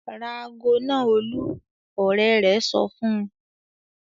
"Ra ago náà Olú!" Ọ̀rẹ́ rẹ̀ sọ fún un.